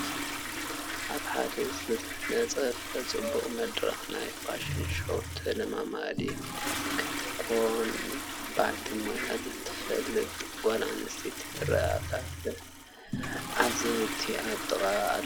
ኣብ ሓደ ዝተነፀፈ ፅቡቕ መድረኽ ናይ ፋሽን ሾው ተለማማዲትስ ክትኮን በዓልቲ ሞያ ዘይትፍለጥ ጓል ኣነስተይቲ ትርአ ኣላ፡፡ ተዓዘብቲ ኣብ ጥቃኣ ኣለዉ፡፡